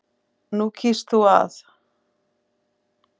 Nú kýst þú að.